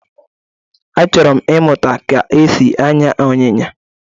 Achọrọ m ịmụta ka esi anya Ịnyịnya